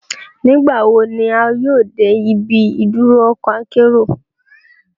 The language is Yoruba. Nigbawo ni a yoo de ibi iduro ọkọ akero?